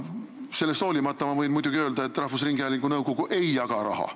Sellest hoolimata ma võin muidugi öelda, et rahvusringhäälingu nõukogu ei jaga raha.